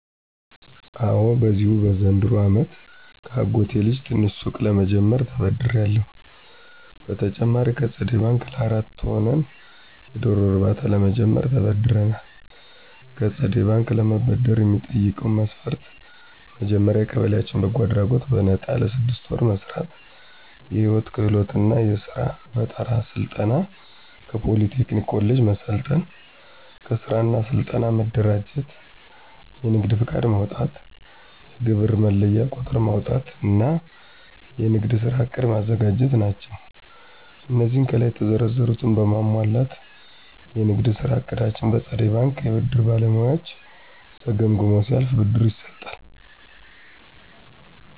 አወ በዚሁ በዘንድሮው አመት ከአጎቴ ልጅ ትንሽ ሱቅ ለምጀምርበት ተበድሬአለሁ። በተጨማሪም ከፀደይ በንክ ለአራት ሆነን የዶሮ እርባታ ለመጀመር ተበድረናል። ከፀደይ ባንክ ለመበደር የሚጠይቀው መስፈርት መጀመሪያ በየቀበሌያችን በጎ አድራጎት በነጣ ለስድስት ወር መስራት፣ የህይወት ክህሎት እና የስራ ፈጠራ ስልጠና ከፖሊ ቴክኒክ ኮሌጅ መሰልጠን፣ ከስራ እና ስልጠና መደራጀት፣ የንግድ ፍቃድ ማውጣት፣ የግብር መለያ ቁጥር ማውጣት እና የንግድ ስራ ዕቅድ ማዘጋጀት ናቸው። አነዚህን ከላይ የተዘረዘሩትን በማሟላት የንግድ ስራ እቅዳችን በፀደይ ባንክ የብድር ባለሙያዎች ተገምግሞ ሲያልፍ ብድር ይሰጣል።